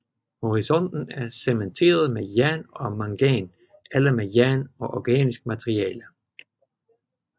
Horisonten er cementeret med jern og mangan eller med jern og organisk materiale